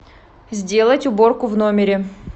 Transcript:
сделать уборку в номере